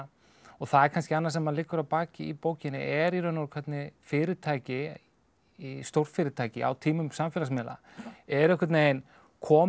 það er kannski annað sem liggur að baki í bókinni er í raun og veru hvernig fyrirtæki stórfyrirtæki á tímum samfélagsmiðla eru einhvern veginn komin